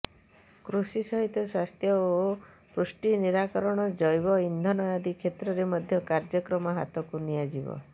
କୃଷି ସହିତ ସ୍ବାସ୍ଥ୍ୟ ଓ ପୁଷ୍ଟି ନିରାକରଣ ଜୈବ ଇନ୍ଧନ ଆଦି କ୍ଷେତ୍ରରେ ମଧ୍ୟ କାର୍ଯ୍ୟକ୍ରମ ହାତକୁ ନିଆଯିବ